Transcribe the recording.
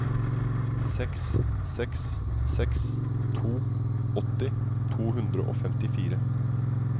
seks seks seks to åtti to hundre og femtifire